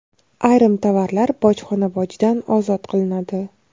Ayrim tovarlar bojxona bojidan ozod qilinadi.